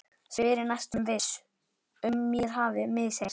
spyr ég, næstum viss um mér hafi misheyrst.